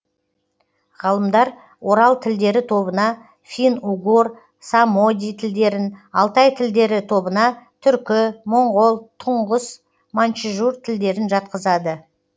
ғалымдар орал тілдері тобына фин угор самоди тілдерін алтай тілдері тобына түркі моңғол туңғыс маньчжур тілдерін жатқызады